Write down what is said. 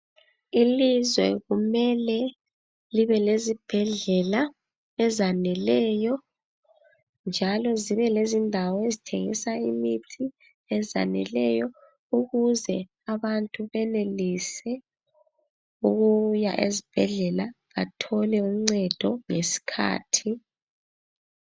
Ilizwe kumele libe lezibhedlela ezaneleyo. Njalo zibe lezindawo ezithengisa imithi ezaneleyo ukuze abantu benelise ukuya ezibhedlela bathole uncedo ngesikhathi.